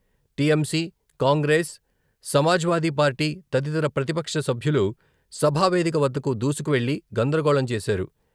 TMC, Congress, Samajwadi Party తదితర ప్రతిపక్ష సభ్యులు సభా వేదిక వద్దకు దూసుకువెళ్ళి గందరగోళం చేశారు.